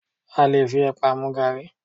A lè fi ẹ̀pà mu gaàrí